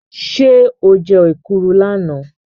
Ṣé o jẹ́ èkuru lánàá?